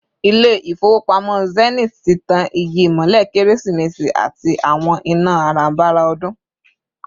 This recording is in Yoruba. Ilé-ifowopamo Zenith tí tán igi imole keresi-mesi àti àwọn iná aranbára odun